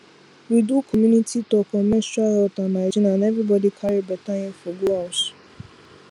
we do community talk on menstrual health and hygiene and everybody carry better info go house